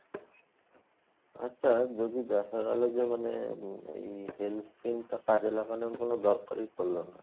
আচ্ছা যদি দেখা গেলো যে মানে হম এই health scheme টা কাজে লাগানোর কোনো দরকারই পড়লো না